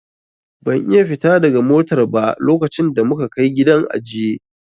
Ban iya fita daga motar ba lokacin da muka Kai gidan ajiye.